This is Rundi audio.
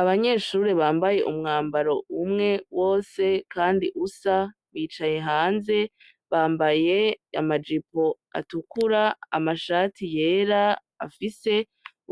Abanyeshure bambaye umwambaro umwe wose kandi usa bicaye hanze bambaye ama jipo atukura amashati yera afise